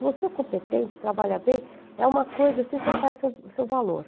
Se você é competente, trabalha bem, é uma coisa assim, você faz o seu seu valor.